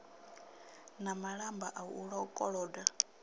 na malamba a u koloda